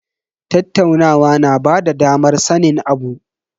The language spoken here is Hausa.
Tattaunawa na bada damar sanin abu.